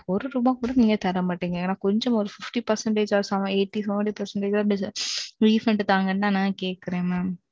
ஒரு ரூபா கூட நீங்க தர மாற்றிங்க. ஏதாவது கோஜமாவது அம்பது சதவீதமாவது refund தாங்கனுதான் நான் கேக்குறேன் mam.